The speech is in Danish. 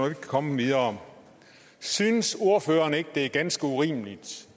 kan komme videre synes ordføreren ikke det er ganske urimeligt